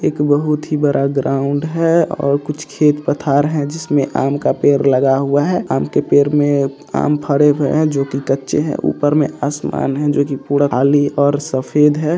एक बहुत ही बड़ा ग्राउंड है और कुछ खेत पटार हैं जिसमें आम का पड़े लगा हुआ है आम के पड़े आम फरे हुए है जो की कचे है ऊपर आसमान है जो की खली और सफेद है।